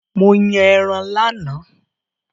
Mo yàn ẹran lánàá